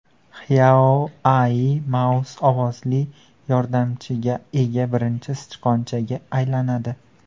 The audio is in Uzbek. XiaoAl Mouse ovozli yordamchiga ega birinchi sichqonchaga aylanadi.